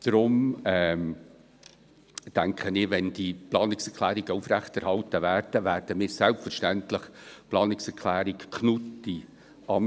Darum denke ich, dass wir – wenn die Planungserklärungen aufrechterhalten werden – die Planungserklärung Knutti/Amstutz selbstverständlich annehmen werden.